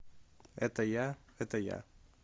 это я это я